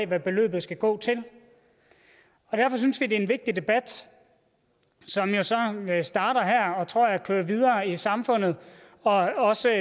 hvad beløbet skal gå til derfor synes vi det er en vigtig debat som jo så starter her og tror jeg kører videre i samfundet og også